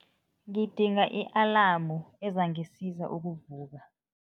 Ngidinga i-alamu ezangisiza ukuvuka.